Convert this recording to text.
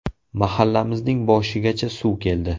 Mahallamizning boshigacha suv keldi.